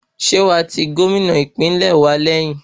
Ṣé wàá ti Gómìnà ìpínlẹ̀ wa lẹ́yìn?